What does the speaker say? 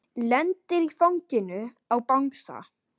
Lendir í fanginu á bangsa.